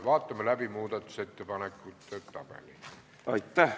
Vaatame läbi muudatusettepanekute tabeli.